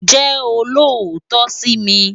Jè ólótò si mi